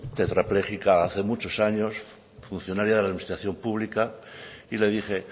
tetrapléjica hace años funcionaria de la administración pública y le dije